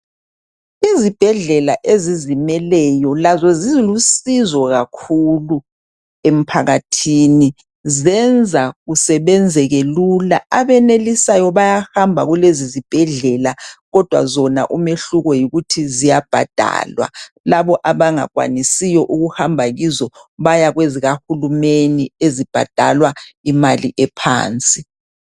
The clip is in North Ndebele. Izibhedlela ezizimeleyo lazo zilusizo kakhulu emphakathini , zenza kusebenzeke lula , abenelisayo bayahamba kulezizibhedlela kodwa zona umehluko yikuthi ziyabhadalwa labo abangakwanisiyo ukuhamba kizo baya kwezikahulumeni ezibhadalwa imali ephansi